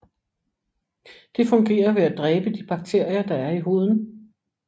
Det fungerer ved at dræbe de bakterier der er i huden